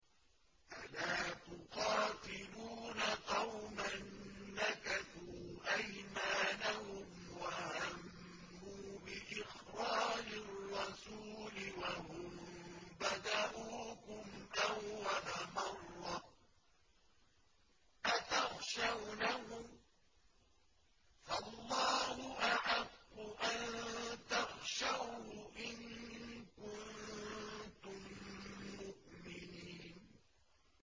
أَلَا تُقَاتِلُونَ قَوْمًا نَّكَثُوا أَيْمَانَهُمْ وَهَمُّوا بِإِخْرَاجِ الرَّسُولِ وَهُم بَدَءُوكُمْ أَوَّلَ مَرَّةٍ ۚ أَتَخْشَوْنَهُمْ ۚ فَاللَّهُ أَحَقُّ أَن تَخْشَوْهُ إِن كُنتُم مُّؤْمِنِينَ